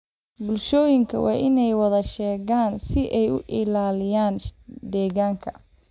Bulshooyinku waa inay wada shaqeeyaan si ay u ilaaliyaan deegaanka.